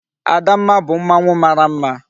Adamma bu mmanwu mara mma